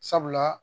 Sabula